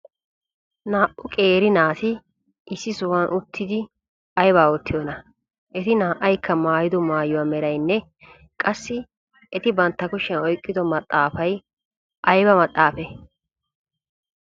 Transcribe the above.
Naa"u qeeri naati issi sohuwan uttidi aybaa oottiyonaa? Eti naa"aykka maayido maayuwa meraynne qassi eti bantta kushiyan oyqqido maxaafay ayba maxaafee?